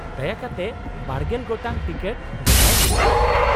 ᱫᱟᱭᱟ ᱠᱟᱛᱮ ᱵᱟᱨᱜᱮᱞ ᱜᱚᱴᱟᱝ ᱴᱤᱠᱤᱴ ᱜᱚᱴᱟᱭ ᱢᱮ ᱾